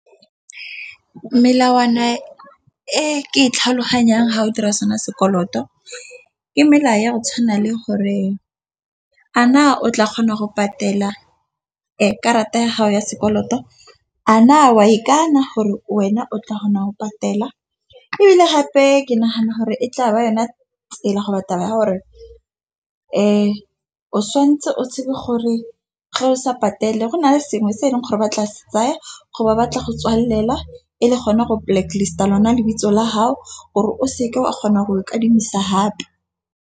Melawana e ke itlhaloganyang ga o dira sona sekoloto. Ke melao ya go tshwana le gore a na o tla kgona go patela karata ya gago ya sekoloto. A na wa ikana gore wena o tla kgona go patela ebile gape ke nagana gore e tla ba yona tsela go ba taba ya gore fa o santse o tshepe gore ge o sa patele go na le sengwe se e leng gore ba tlase tsaya go ba batla go tswalela e le gona go blacklist lona lebitso la gao gore o se ka o a kgonang go kadimisa gape.